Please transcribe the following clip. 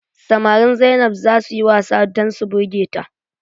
Samarin Zainab zaa suyi wasa dan su birge ta.